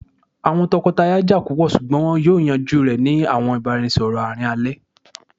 awọn tọkọtaya ja pupọ ṣugbọn wọn yoo yanju rẹ ni awọn ibaraẹnisọrọ aarin alẹ